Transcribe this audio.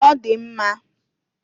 Ọ dị mma.